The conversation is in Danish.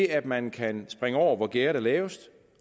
at man kan springe over hvor gærdet er lavest